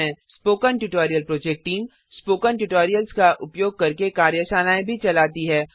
spoken tutorial project team spoken tutorials का उपयोग करके कार्यशालाएँ भी चलाती है